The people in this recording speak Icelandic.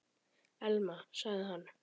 Elma- sagði hann.